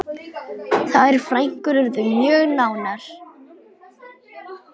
Þær frænkur urðu mjög nánar.